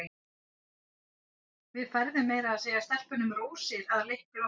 Við færðum meira að segja stelpunum rósir að leik loknum.